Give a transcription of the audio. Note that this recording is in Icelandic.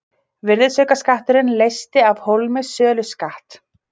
Virðisaukaskatturinn leysti af hólmi söluskatt.